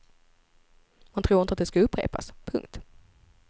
Man tror inte det ska upprepas. punkt